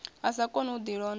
a sa koni u ḓilondota